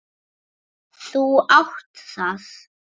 Þú átt það!